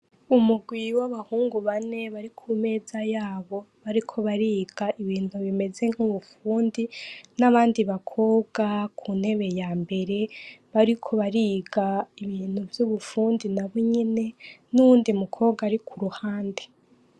Umugwi w'abahungu bane bari ku meza yabo, bariko bariga ibintu bimeze nk'ubufundi n'abandi bakobwa ku ntebe ya mbere bariko bariga ibintu vy'ubufundi nabo nyene n'uwundi mukobwa ari ku ruhande.